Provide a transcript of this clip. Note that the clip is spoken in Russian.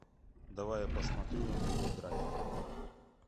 давай я посмотрю на тв драйв